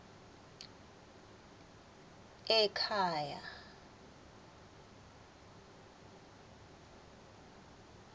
ekhaya